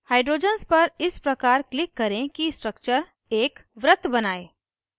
hydrogens पर इस प्रकार click करें कि structure एक वृत्त बनाये